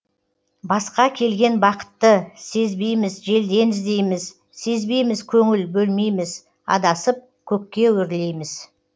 басқа келген бақытты сезбейміз желден іздейміз сезбейміз көңіл бөлмейміз адасып көкке өрлейміз